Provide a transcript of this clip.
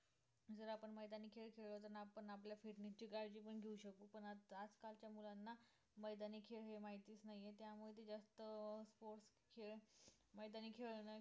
जर आपण मैदानी खेळ खेळलो तर आपण आपल्या fitness ची काळजी पण घेऊ शकू पण आज कालच्या मुलांना मैदानी खेळ हे माहितीच नाही आहे त्यामुळे ते जास्त sports खेळ मैदानी खेळ न खेळ